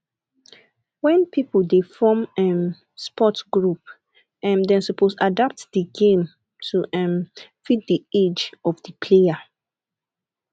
when pipo dey form um sport group um dem suppose adapt di game to um fit the age of di player